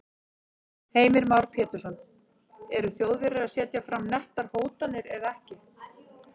Heimir Már Pétursson: Eru Þjóðverjar að setja fram nettar hótanir eða ekki?